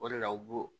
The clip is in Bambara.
O de la u b'o